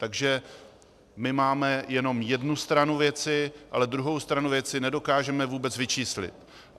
Takže my máme jenom jednu stranu věci, ale druhou stranu věci nedokážeme vůbec vyčíslit.